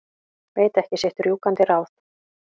Veit ekki sitt rjúkandi ráð.